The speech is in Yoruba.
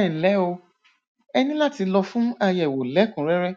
ẹnlẹ o ẹ ní láti lọ fún àyẹwò lẹkùnrẹrẹ